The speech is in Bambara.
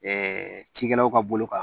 cikɛlaw ka bolo kan